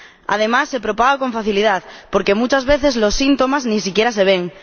Además, se propaga con facilidad porque muchas veces los síntomas ni siquiera se ven.